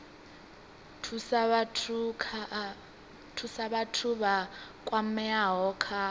thusa vhathu vha kwameaho kha